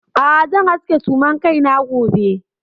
A'a zan aske suman kaina gobe.